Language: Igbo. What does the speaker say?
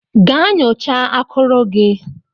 Gaa nyocha akuru gị!